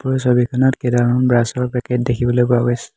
এই ছবিখনত কেইডালমান ব্ৰাছ ৰ পেকেট দেখিবলৈ পোৱা গৈছে।